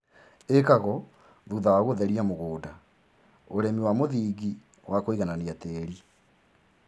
ĩkagwo thutha wa gũtheria mũgũnda, ũrĩmi wa mũthingi wa kũiganania tĩri.